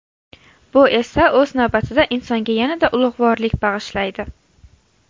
Bu esa, o‘z navbatida, insonga yanada ulug‘vorlik bag‘ishlaydi.